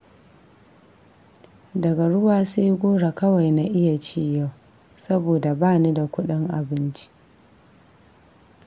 Daga ruwa sai goro kawai na iya ci yau, saboda ba ni da kuɗin abinci